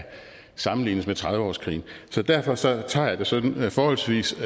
sammenlignes med trediveårskrigen så derfor tager tager jeg det sådan forholdsvis